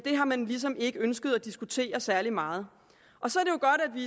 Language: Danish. har man ligesom ikke ønsket at diskutere særlig meget